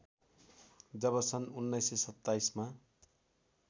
जब सन् १९२७ मा